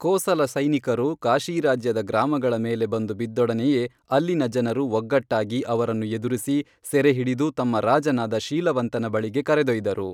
ಕೋಸಲ ಸೈನಿಕರು ಕಾಶೀರಾಜ್ಯದ ಗ್ರಾಮಗಳ ಮೇಲೆ ಬಂದು ಬಿದ್ದೊಡನೆಯೇ ಅಲ್ಲಿನ ಜನರು ಒಗ್ಗಟ್ಟಾಗಿ ಅವರನ್ನು ಎದುರಿಸಿ ಸೆರೆಹಿಡಿದು ತಮ್ಮ ರಾಜನಾದ ಶೀಲವಂತನ ಬಳಿಗೆ ಕರೆದೊಯ್ದರು